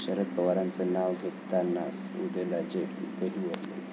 शरद पवारांचं नाव घेताना उदयनराजे गहिवरले